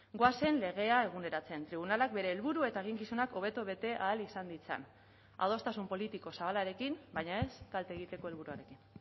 goazen legea eguneratzen tribunalak bere helburu eta eginkizunak hobeto bete ahal izan ditzan adostasun politiko zabalarekin baina ez kalte egiteko helburuarekin